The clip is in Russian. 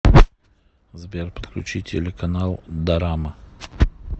сбер подключи телеканал дорама